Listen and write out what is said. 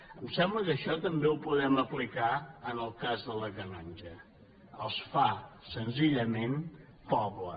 em sembla que això també ho podem aplicar en el cas de la canonja els fa senzillament poble